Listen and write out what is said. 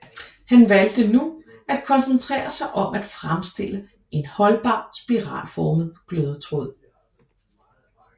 Han valgte nu at koncentrere sig om at fremstille en holdbar spiralformet glødetråd